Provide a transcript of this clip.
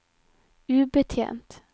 ubetjent